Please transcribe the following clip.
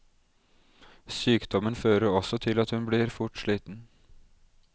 Sykdommen fører også til at hun blir fort sliten.